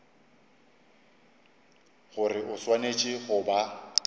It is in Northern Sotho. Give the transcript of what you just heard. gore o swanetše go ba